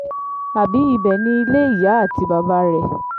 àbí ibẹ̀ ni ilé ìyá àti bàbá rẹ̀